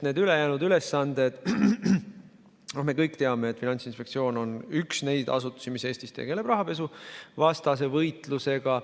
Me kõik teame, et Finantsinspektsioon on üks neid asutusi, mis tegeleb Eestis rahapesuvastase võitlusega.